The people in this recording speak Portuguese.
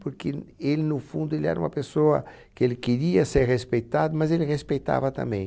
Porque ele, no fundo, ele era uma pessoa que ele queria ser respeitado, mas ele respeitava também.